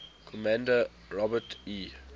commander robert e